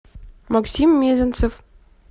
максим мезенцев